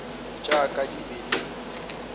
tša ka di be di